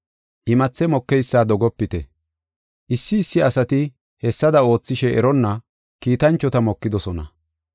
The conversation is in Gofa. Imathe mokeysa dogopite. Issi issi asati hessada oothishe eronna kiitanchota mokidosona.